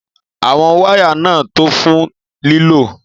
Àwon wáyà náà tó fun lílò.